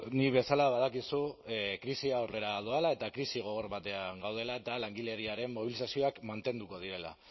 nik bezala badakizu krisia aurrera doala eta krisi gogor batean gaudela eta langileriaren mobilizazioak mantenduko direla